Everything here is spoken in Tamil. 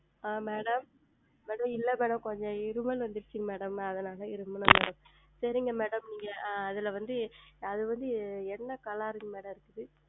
ஆஹ் Madam Madam இல்லை Madam கொஞ்சம் இரும்பல் வந்து விட்டது Madam அதுனால் தான் இரும்பினேன் சரிங்கள் Madam ஆஹ் அதில் வந்து என்ன Color Madam இருக்கிறது